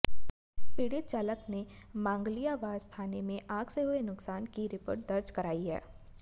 पीड़ित चालक ने मांगलियावास थाने में आग से हुए नुकसान की रपट दर्ज कराई है